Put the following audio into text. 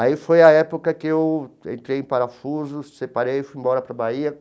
Aí foi a época que eu entrei em parafuso, separei e fui embora para a Bahia.